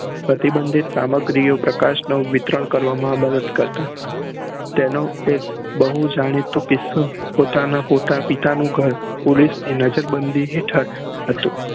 પ્રતિબન્દિત સામગ્રીઓ પ્રકાશ નું વિતરણ કરવા માં મદદ કરતા ત્યાં નું બહુ જાણીતું કીસ્સું પોતાના પોતાની પિતા નું ઘર